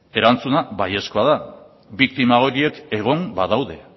erantzuna baiezkoa da biktima horiek egon badaude